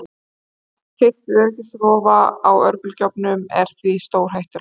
Allt fikt við öryggisrofa á örbylgjuofnum er því stórhættulegt.